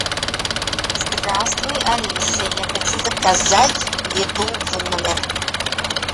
здравствуй алиса я хочу заказать еду в номер